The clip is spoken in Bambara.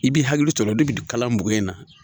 I b'i hakili to la o de bi kalan bugun in na